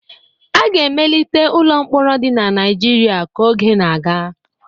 A ga-emelite ụlọ mkpọrọ dị na Naijiria ka oge na-aga.